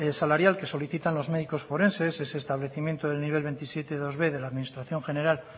salarial que solicitan los médicos forenses es establecimiento del nivel veintisiete punto dosb de la administración general